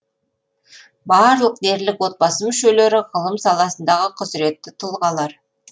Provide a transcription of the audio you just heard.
барлық дерлік отбасы мүшелері ғылым саласындағы құзыретті тұлғалар